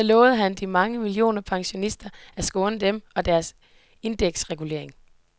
Så lovede han de mange millioner pensionister at skåne dem og deres indeksregulering.